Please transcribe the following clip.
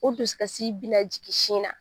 O dusu kasi bi na jigin sin na.